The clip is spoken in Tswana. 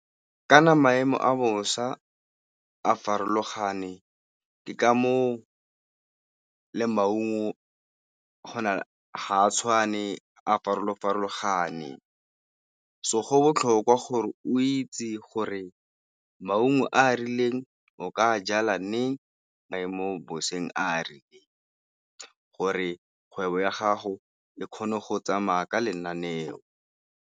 Ka na maemo a bosa a farologane, ke ka foo le maungo ga a tshwane a farolo-farologane. So go botlhokwa gore o itse gore maungo a a rileng o ka a jala neng, maemo boseng a gore kgwebo ya gago e kgone go tsamaya ka lenaneo.